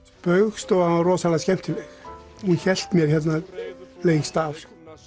Spaugstofan var rosalega skemmtileg hún hélt mér hérna lengst af